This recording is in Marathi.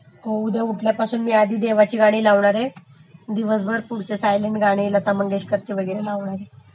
हो उद्या उठल्यापासून मी आधी देवाची गाणी लावणारे मग दिवसभर पुढचे सायलंट गाणी लता मंगेशकरची वगैरे लावणारे.